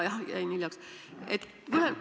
Minu viga, jäin hiljaks.